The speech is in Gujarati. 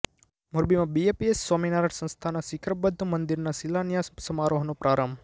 મોરબીમાં બીએપીએસ સ્વામિનારાયણ સંસ્થાના શીખરબદ્ધ મંદિરના શિલાન્યાસ સમારોહનો પ્રારંભ